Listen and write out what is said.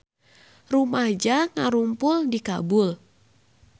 Rumaja ngarumpul di Kabul